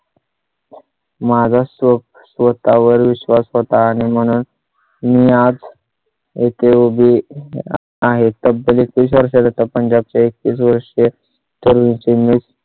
माझ्या शोक स्वतः वर विश्वास स्वतः आणि म्हणून मी आज येथे उभे आहे. तब्बल तीस वर्षा चा पतंगात चा एक एक तीस वर्षे तरी ची मिसळ.